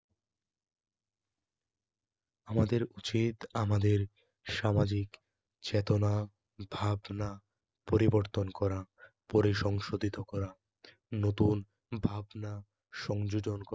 আমাদের উচিত আমাদের সামাজিক চেতনা ভাবনা পরিবর্তন করা, পরিসংশোধিত করা, নতুন ভাবনা সংযোজন করা